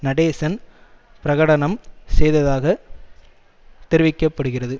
நடேசன் பிரகடனம் செய்ததாகத் தெரிவிக்க படுகிறது